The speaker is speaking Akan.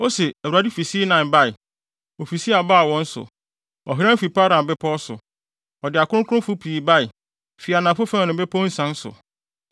Ose, “ Awurade fi Sinai bae ofi Seir baa wɔn so; ɔhran fi Paran bepɔw so. Ɔde akronkronfo pii bae fi anafo fam ne mmepɔw nsian so.